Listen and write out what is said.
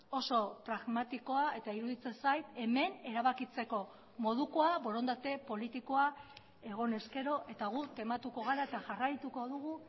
oso pragmatikoa eta iruditzen zait hemen erabakitzeko modukoa borondate politikoa egon ezkero eta guk tematuko gara eta jarraituko dugu